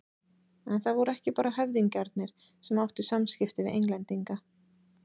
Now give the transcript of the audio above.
En það voru ekki bara höfðingjarnir sem áttu samskipti við Englendinga.